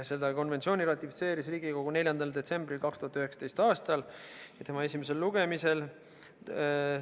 Selle konventsiooni ratifitseeris Riigikogu 4. detsembril 2019. aastal.